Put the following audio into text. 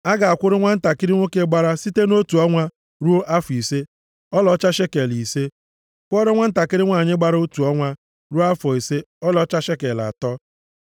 A ga-akwụrụ nwantakịrị nwoke gbara site otu ọnwa ruo afọ ise, ọlaọcha shekel ise, kwụọra nwantakịrị nwanyị gbara otu ọnwa ruo afọ ise ọlaọcha shekel atọ.